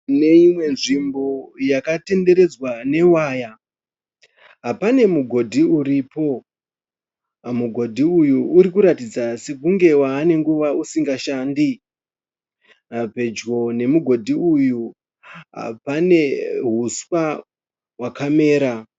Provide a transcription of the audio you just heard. Neimwe nzvimbo yakatenderedzwa newaya pane mugodhi uripo mugodhi uyu uri kuratidza sekunge waa nenguva usingashandi pedyo nemugodhi uyu pane huswa hwakamera.